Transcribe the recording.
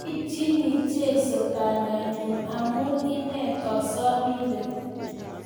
Aipchini Jesu banda nyun amu ine kosobindet